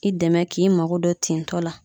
I dɛmɛ k'i mago don tintɔ la